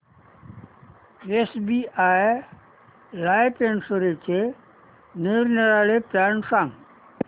SBI life इन्शुरन्सचे निरनिराळे plan सांग